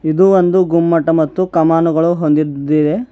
ಇದು ಒಂದು ಗುಮ್ಮಟ ಮತ್ತು ಕಮಾನುಗಳು ಹೊಂದಿದ್ದೇವೆ.